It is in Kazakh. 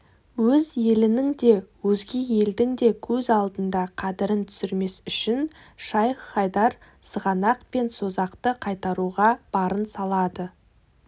өз елінің де өзге елдің де көз алдында қадірін түсірмес үшін шайх-хайдар сығанақ пен созақты қайтаруға барын салады